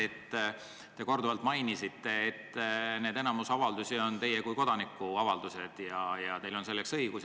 Te mainisite korduvalt, et enamik teie arvamusavaldusi on teie kui kodaniku avaldused ja teil on selleks õigus.